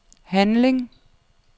handling